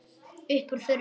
Upp úr þurru.